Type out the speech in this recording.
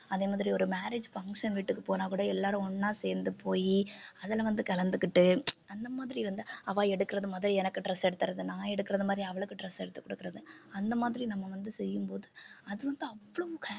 அதே மாதிரி ஒரு marriage function வீட்டுக்கு போனாக்கூட எல்லாரும் ஒண்ணா சேர்ந்து போயி அதில வந்து கலந்துக்கிட்டு அந்த மாதிரி வந்து அவ எடுக்கிறது முத எனக்கு dress எடுத்துறது நான் எடுக்குறது மாதிரி அவளுக்கு dress எடுத்து கொடுக்குறது அந்த மாதிரி நம்ம வந்து செய்யும்போது அது வந்து அவ்வளவு